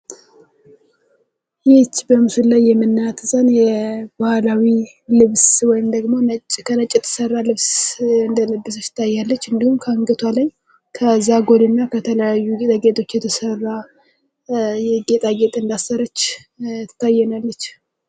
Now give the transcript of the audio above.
ይህች በመስሎ ላይ የምንመለከታት ህፃን ባህላዊ ልብስ ወይም በነጭ የተሰራ ልብስ እንደለበሰች ስታያለች እንዲሁም ከአንገቷ ላይ ከዛጎልና ከተለያዩ ጌጣጌጦች የተሰራ ጌጣጌጥ እንዳሠረች ትታየናለች።